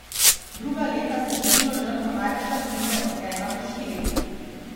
Druga leta se število žrtev največkrat giblje od ena do štiri.